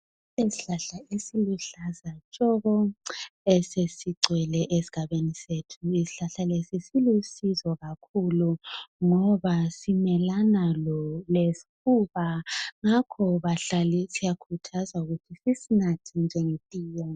Isihlahla esiluhlaza tshoko esesigcwele esigabeni sethu isihlahla leso silisizo kakhulu ngoba simelana lesifuna ngakhoke siyakhuthazwa ukuthi sisinathe njenge tiye